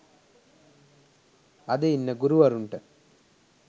අද ඉන්න ගුරුවරුන්ට